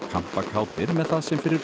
kampakátir með það sem fyrir